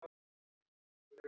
Og það tekst ekki alltaf.